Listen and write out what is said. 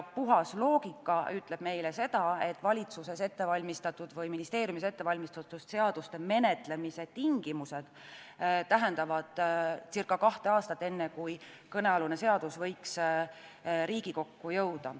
Puhas loogika ütleb meile seda, et valitsuses või ministeeriumis ette valmistatud seaduste menetlemise tingimused tähendavad seda, et kulub umbes kaks aastat, enne kui kõnealune seadus võiks Riigikokku jõuda.